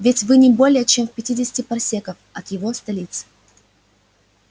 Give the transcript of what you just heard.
ведь вы не более чем в пятидесяти парсеках от его столицы